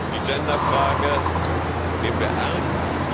Die Gender Frage nehmen wir ernst.